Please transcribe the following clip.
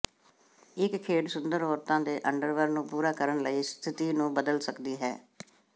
ਇੱਕ ਖੇਡ ਸੁੰਦਰ ਔਰਤਾਂ ਦੇ ਅੰਡਰਵਰ ਨੂੰ ਪੂਰਾ ਕਰਨ ਲਈ ਸਥਿਤੀ ਨੂੰ ਬਦਲ ਸਕਦੀ ਹੈ